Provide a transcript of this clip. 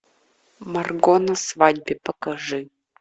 марго на свадьбе покажи